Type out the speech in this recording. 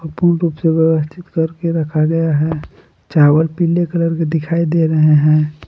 पूर्ण रूप से व्यवस्थित करके रखा गया है चावल पीले कलर के दिखाई दे रहे हैं।